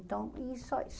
Então, é só isso.